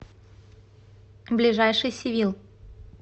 ближайший сивил